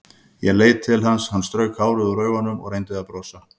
Ég leit til hans, hann strauk hárið úr augunum og reyndi að brosa.